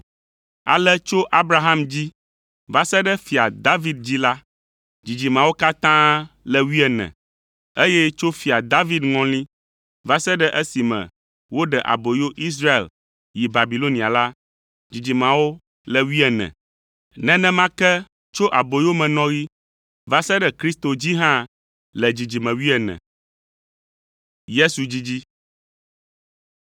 Ale tso Abraham dzi va se ɖe Fia David dzi la, dzidzimeawo katã le wuiene, eye tso Fia David ŋɔli va se ɖe esime woɖe aboyo Israel yi Babilonia la, dzidzimeawo le wuiene, nenema ke tso aboyomenɔɣi va se ɖe Kristo dzi hã le dzidzime wuiene.